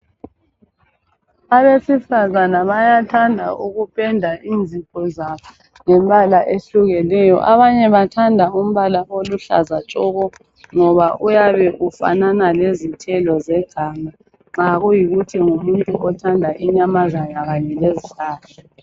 Abesifazana bayathanda ukupenda inzipho zabo ngembala ehlukahlukeneyo abanye bathanda umbala oluhlaza tshoko ngoba uyabe ufanana lezithelo zeganga nxa kuyikuthi ngumuntu othanda inyamazana kanye lezihlahla.